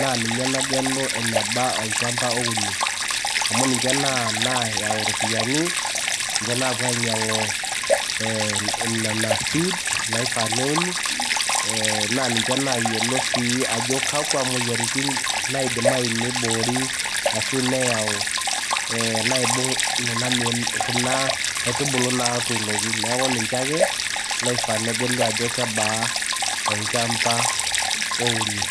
naa ninye nagelu eneba olchamba ouni. Amu ninche nayau irropiyiani, ninche naapuo ainyiang`u ee nena seeds naifaa neuni. Naa ninche nayiolo sii ajo kakwa moyiaritin naidimayu niboori ashu naayau naibung kuna ee kuna aitubulu naatuunoki. Niaku ninche ake loifaa negelu ajo kebaa olchampa ouni.